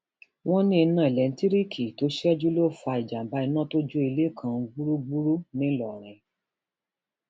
wọn ní iná um elétíríìkì tó ṣẹjú ló fa ìjàmbá iná tó jó ilé kan um gbúgbúrú ńlórìn